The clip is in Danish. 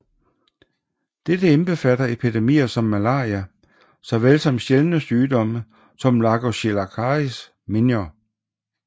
Dette indbefatter epidemier som malaria så vel som sjældne sygdomme som lagochilascaris minor